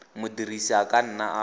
modirisi a ka nna a